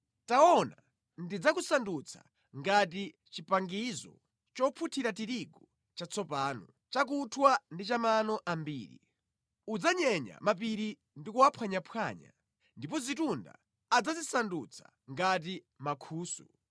“Taona, ndidzakusandutsa ngati chipangizo chopunthira tirigu chatsopano, chakunthwa ndi cha mano ambiri. Udzanyenya mapiri ndi kuwaphwanyaphwanya, ndipo zitunda adzazisandutsa ngati mankhusu.